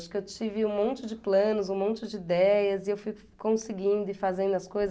Acho que eu tive um monte de planos, um monte de ideias e eu fui conseguindo e fazendo as coisas.